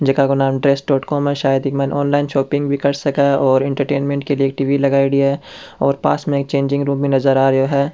जेका को नाम ड्रेस डॉट कॉम है शायद ईमे ऑनलइन शॉपिंग भी कर सके है और इंटरटेनमेंट के लिए एक टी.वी. लगायेडी है और पास में एक चेंजिंग रूम भी नजर आ रेहा है।